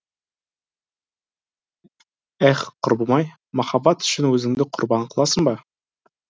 эһ құрбым ай махаббат үшін өзіңді құрбан қыласың ба